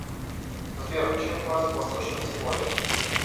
сбер чем платят в восточном тиморе